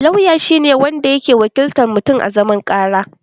Lauya shi ne wanda yake wakiltar mutun a zaman ƙara